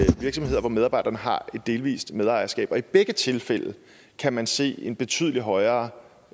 virksomheder hvor medarbejderne har et delvis medejerskab og i begge tilfælde kan man se en betydelig højere